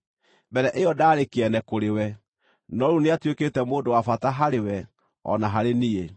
Mbere ĩyo ndaarĩ kĩene kũrĩwe, no rĩu nĩatuĩkĩte mũndũ wa bata harĩwe o na harĩ niĩ.